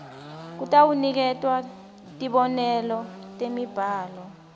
kutawuniketwa tibonelo temibhalo